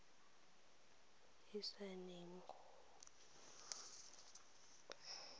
e saene o bo o